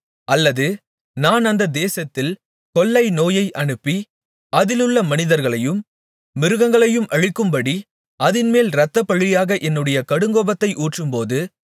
அல்லது நான் அந்த தேசத்தில் கொள்ளை நோயை அனுப்பி அதிலுள்ள மனிதர்களையும் மிருகங்களையும் அழிக்கும்படி அதின்மேல் இரத்தப்பழியாக என்னுடைய கடுங்கோபத்தை ஊற்றும்போது